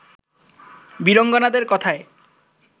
বীরাঙ্গনাদের কথায়